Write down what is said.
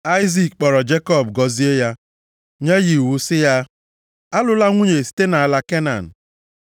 Aịzik kpọrọ Jekọb gọzie ya, nye ya iwu sị ya, “Alụla nwunye site nʼala Kenan.